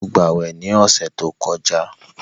Sọ gbàwè ní ọ̀sẹ̀ tó kọjá?